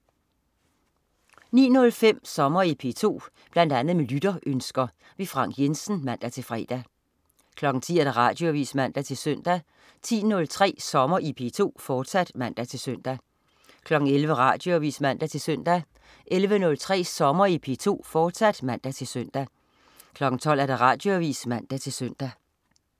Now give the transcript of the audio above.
09.05 Sommer i P2. Bl.a. med lytterønsker. Frank Jensen (man-fre) 10.00 Radioavis (man-søn) 10.03 Sommer i P2, fortsat (man-søn) 11.00 Radioavis (man-søn) 11.03 Sommer i P2, fortsat (man-søn) 12.00 Radioavis (man-søn)